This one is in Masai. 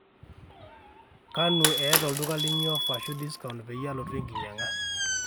kanu eeta olduka linyi ofa ashu discount peyie alotu enkijanyaga